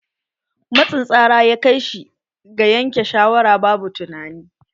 Matsin tsara ya kai shi ga yanke shawara babu tunanai.